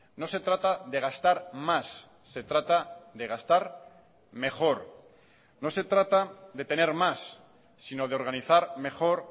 no se trata de gastar más se trata de gastar mejor no se trata de tener más sino de organizar mejor